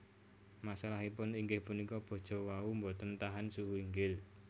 Masalahipun inggih punika baja wau boten tahan suhu inggil